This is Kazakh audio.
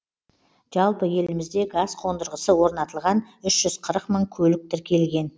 жалпы елімізде газ қондырғысы орнатылған үш жүз қырық мың көлік тіркелген